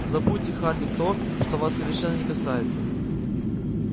забудьте хардин то что вас совершенно не касается